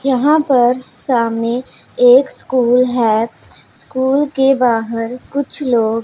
यहां पर सामने एक स्कूल है स्कूल के बाहर कुछ लोग--